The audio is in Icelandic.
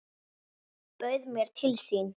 Bauð mér til sín.